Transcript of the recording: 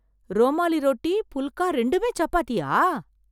ரோமாலி ரோட்டி, புல்கா ரெண்டுமே சப்பாத்தியா...